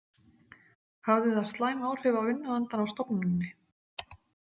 Hafði það slæm áhrif á vinnuandann á stofnuninni?